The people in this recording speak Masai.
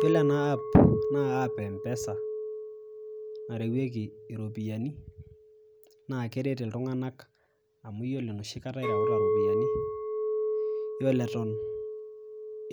Yiolo ena ]cs]aap naa app ee mpesa , narewieki iropiyiani naa keret iltunganak amu iyiolo enoshi kata ireuta iropiyiani , yiolo eton